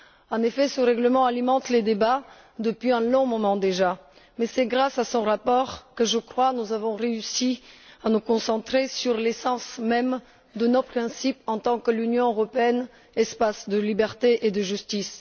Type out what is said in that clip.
En effet, ce règlement alimente les débats depuis un long moment déjà mais c'est grâce à son rapport que nous avons je crois réussi à nous concentrer sur l'essence même de nos principes en tant qu'Union européenne, espace de liberté et de justice.